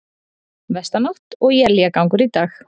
Vestanátt og éljagangur í dag